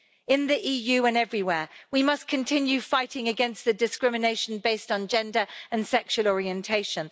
In the EU and everywhere we must continue fighting against the discrimination based on gender and sexual orientation.